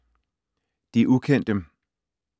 De ukendte